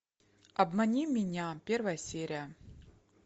обмани меня первая серия